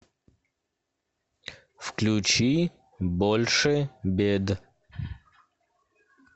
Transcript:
включи больше бед